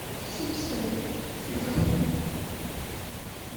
симпсоны сезон